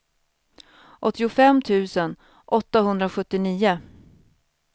åttiofem tusen åttahundrasjuttionio